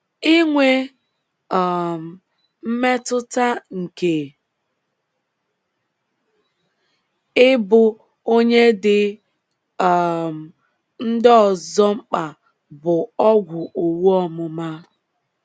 Inwe um mmetụta nke ịbụ onye dị um ndị ọzọ mkpa bụ ọgwụ owu ọmụma.